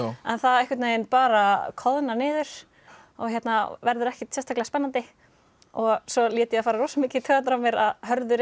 en það einhvern veginn bara koðnar niður og verður ekkert sérstaklega spennandi svo lét ég það fara rosa mikið í taugarnar á mér að Hörður